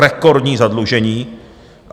Rekordní zadlužení.